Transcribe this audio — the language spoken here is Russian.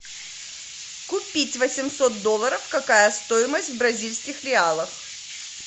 купить восемьсот долларов какая стоимость в бразильских реалах